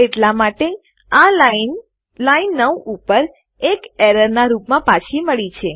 એટલા માટે આ લાઈન લાઈન 9 ઉપર એક એરર નાં રૂપમાં પાછી મળી છે